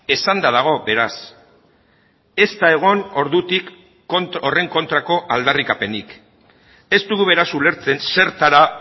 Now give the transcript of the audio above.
esanda dago beraz ez da egon ordutik horren kontrako aldarrikapenik ez dugu beraz ulertzen zertara